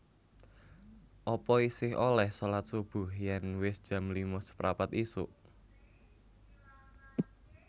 Apa isih oleh solat subuh yen wis jam lima seprapat isuk?